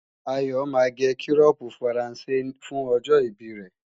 Ayọ̀ máa gé kírọ́pu Faransé fún ọjọ́ ìbí rẹ